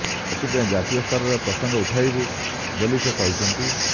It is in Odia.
ଏଥିପାଇଁ ଜାତୀୟ ସ୍ତରରେ ପ୍ରସଙ୍ଗ ଉଠାଇବୁ ବୋଲି ସେ କହିଛନ୍ତି